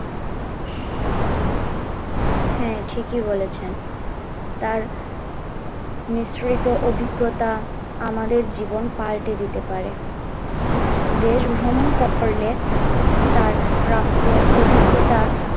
হ্যাঁ ঠিকই বলেছেন তার মিশ্রিত অভিজ্ঞতা আমাদের জীবন পাল্টে দিতে পারে, দেশ ভ্রমণ করলে তার প্রাপ্ত অভিজ্ঞতা